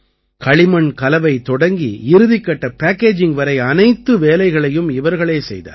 களிமண் கலவை தொடங்கி இறுதிக்கட்ட பேக்கேஜிங் வரை அனைத்து வேலைகளையும் இவர்களே செய்தார்கள்